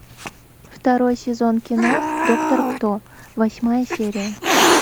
второй сезон кино доктор кто восьмая серия